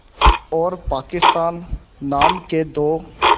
और पाकिस्तान नाम के दो